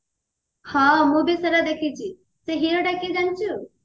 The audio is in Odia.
ହଁ ମୁଁ ବି ସେଇଟା ଦେଖିଛି ସେ heroଟା କିଏ ଜାଣିଛୁ